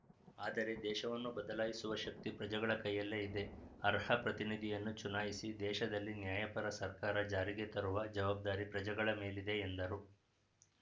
ಆದರೆ ದೇಶವನ್ನು ಬದಲಾಯಿಸುವ ಶಕ್ತಿ ಪ್ರಜೆಗಳ ಕೈಯಲ್ಲೇ ಇದೆ ಅರ್ಹ ಪ್ರತಿನಿಧಿಯನ್ನು ಚುನಾಯಿಸಿ ದೇಶದಲ್ಲಿ ನ್ಯಾಯಪರ ಸರ್ಕಾರ ಜಾರಿಗೆ ತರುವ ಜವಾಬ್ದಾರಿ ಪ್ರಜೆಗಳ ಮೇಲಿದೆ ಎಂದರು